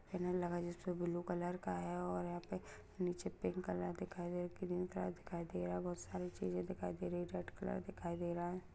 Banner लगा है जिसपर ब्लू कलर का है और यहाँ पर नीचे पिंक कलर दिखाई दे रहे ग्रीन कलर दिखाई दे रहा बहुत सारी चीज़ें दिखाई दे रही हैं रेड कलर दिखाई दे रहा है।